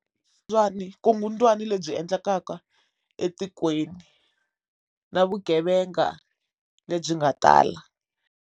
Vukungundzwani lebyi endlekaka etikweni na vugevenga lebyi nga tala.